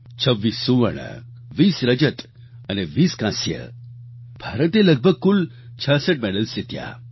26 સુવર્ણ 20 રજત અને 20 કાંસ્ય ભારતે લગભગ કુલ 66 મેડલ્સ જીત્યા